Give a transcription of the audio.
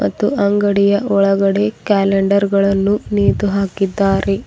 ಮತ್ತು ಅಂಗಡಿಯ ಒಳಗಡೆ ಕ್ಯಾಲೆಂಡರ್ ಗಳನ್ನು ನೇತು ಹಾಕಿದ್ದಾರೆ.